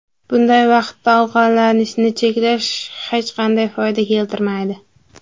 Bunday vaqtda ovqatlanishni cheklash hech qanday foyda keltirmaydi.